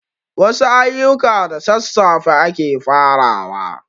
Wasu ayuka da sassafe ake farawa